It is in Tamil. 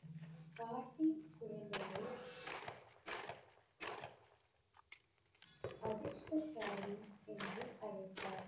பாட்டி குழந்தையை அதிர்ஷ்டசாலி என்று அழைத்தார்.